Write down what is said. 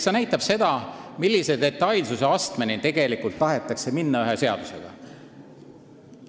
See näitab seda, millise detailsuse astmeni tahetakse ühe seadusega minna.